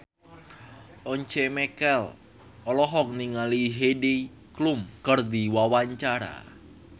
Once Mekel olohok ningali Heidi Klum keur diwawancara